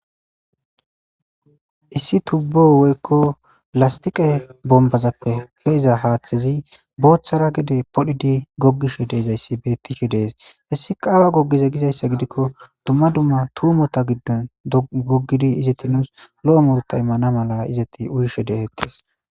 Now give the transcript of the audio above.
issi tubbo woykko lastiqe bombazappe ke7eza haaththezi booththara gide podhidi goggishe deezayssi beettishe de7es hessika awa gogize gizayssa gidikko duma duma tuumota giddon goggidi izeti nuus lo7o muruta immana mala izeti uyishe detettees.